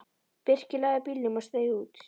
Birkir lagði bílnum og steig út.